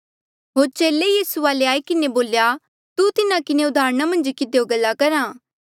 होर चेले यीसू वाले आई किन्हें बोल्या तू तिन्हा किन्हें उदाहरणा मन्झ किधियो गल्ला करहा